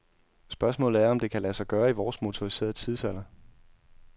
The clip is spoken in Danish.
Spørgsmålet er, om det kan lade sig gøre i vores motoriserede tidsalder.